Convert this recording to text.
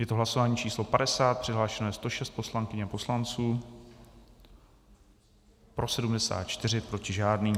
Je to hlasování číslo 50, přihlášeno je 106 poslankyň a poslanců, pro 74, proti žádný.